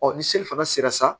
ni seli fana sera sa